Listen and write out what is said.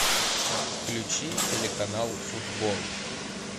включи телеканал футбол